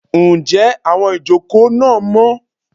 njé awón ìjokò na mó?